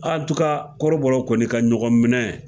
kɔrɔbɔrɔw kɔni ka ɲɔgɔn minɛ.